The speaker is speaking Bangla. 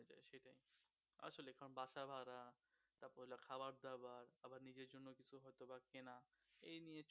এই নিয়ে